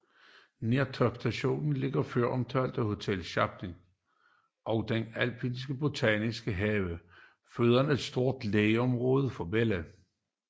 Nær topstationen ligger føromtalte Hotel Schatzalp og den alpine botaniske have foruden et stort legeområde for børn